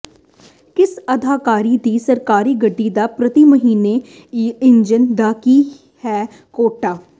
ਕਿਸ ਅਧਿਕਾਰੀ ਦੀ ਸਰਕਾਰੀ ਗੱਡੀ ਦਾ ਪ੍ਰਤੀ ਮਹੀਨੇ ਈਂਧਨ ਦਾ ਕੀ ਹੈ ਕੋਟਾ